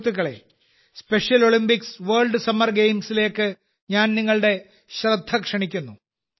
സുഹൃത്തുക്കളേ special Olympics world summer ഗെയിംസിലേക്ക് ഞാൻ നിങ്ങളുടെ ശ്രദ്ധ ക്ഷണിക്കുന്നു